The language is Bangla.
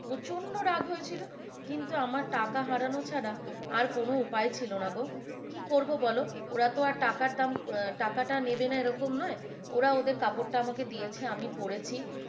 প্রচণ্ড রাগ হয়েছিল কিন্তু আমার টাকা হারানো ছাড়া আর কোন উপায় ছিল না গো, কি করবো বলো ওরা তো আর টাকার দাম টাকাটা নেবে না এরকম নয় ওরা ওদের কাপড়টা আমাকে দিয়েছে আমি পরেছি।